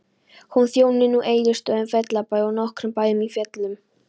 Hún þjónar nú Egilsstöðum, Fellabæ og nokkrum bæjum í Fellum.